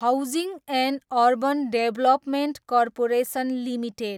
housing and urban development corporation limited